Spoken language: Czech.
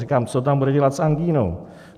Říkám, co tam bude dělat s angínou?